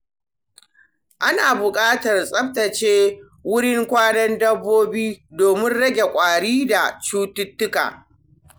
Ana buƙatar tsaftace wurin kwanan dabbobi domin rage kwari da cututtuka.